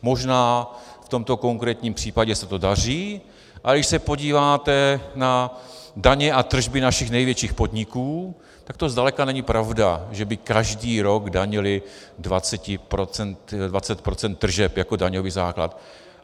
Možná v tomto konkrétním případě se to daří, ale když se podíváte na daně a tržby našich největších podniků, tak to zdaleka není pravda, že by každý rok danily 20 % tržeb jako daňový základ.